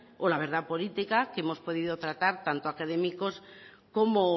o la verdad política que hemos podido tratar tanto académicos como